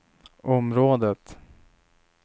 området